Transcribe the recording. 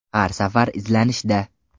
Har safar izlanishda.